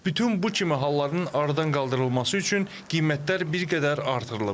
Bütün bu kimi halların aradan qaldırılması üçün qiymətlər bir qədər artırılıb.